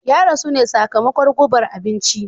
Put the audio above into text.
Ya rasu ne sakamakon gubar abinci.